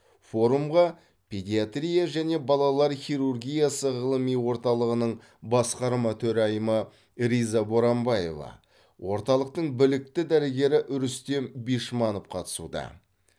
форумға педиатрия және балалар хирургиясы ғылыми орталығының басқарма төрайымы риза боранбаева орталықтың білікті дәрігері рүстем бишманов қатысуда